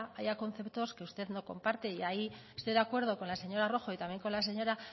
haya conceptos que usted no comparte y ahí estoy de acuerdo con la señora rojo y también con la señora